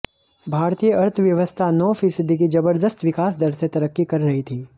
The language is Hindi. भारतीय अर्थव्यवस्था नौ फीसदी की जबरदस्त विकास दर से तरक्की कर रही थी